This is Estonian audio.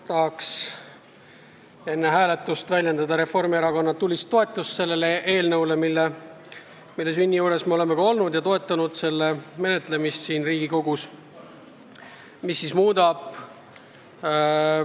Tahan enne hääletust väljendada Reformierakonna tulist toetust sellele eelnõule, mille sünni juures me oleme olnud ja mille menetlemist siin Riigikogus me oleme igati toetanud.